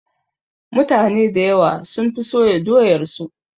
Mutane dayawa sun fi soya doyar su